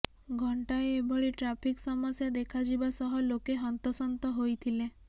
ଘଣ୍ଟାଏ ଏଭଳି ଟ୍ରାଫିକ୍ ସମସ୍ୟା ଦେଖାଯିବା ସହ ଲୋକେ ହନ୍ତସନ୍ତ ହୋଇଥିଲେ